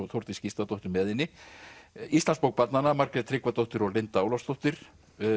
Þórdís Gísladóttir með henni íslandsbók barnanna Margrét Tryggvadóttir og Linda Ólafsdóttir